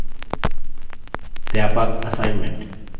व्यापक assignment